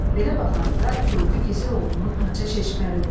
Belə baxanda gördü gizir oğlunun haça şişbəridir.